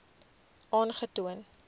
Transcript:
aangetoon